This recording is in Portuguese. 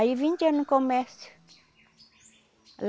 Aí vinte anos começa.